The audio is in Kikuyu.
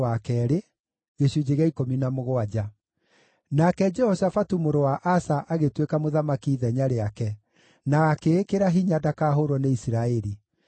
Nake Jehoshafatu mũrũ wa Asa agĩtuĩka mũthamaki ithenya rĩake, na akĩĩkĩra hinya ndakahũũrwo nĩ Isiraeli.